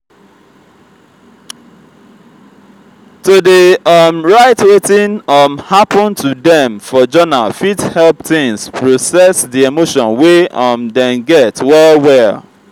to dey um write wetin um hapun to dem for journal fit help teens process di emotion wey um dem get well well.